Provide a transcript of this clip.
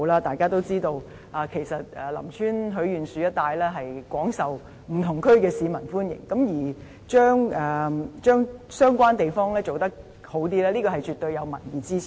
大家也知道，其實林村許願樹一帶廣受不同地區市民的歡迎，而把相關地方優化，絕對是有民意支持的。